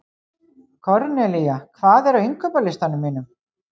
Kornelía, hvað er á innkaupalistanum mínum?